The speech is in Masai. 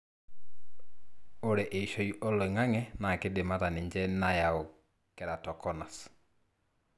ore eishoi oloingange na kindim ata ninche nayau keratoconus.